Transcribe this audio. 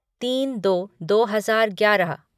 तीन दो दो हजार ग्यारह